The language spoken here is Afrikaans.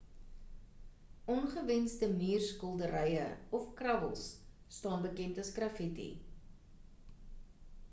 ongewensde muurskilderye of krabbels staan bekend as graffitti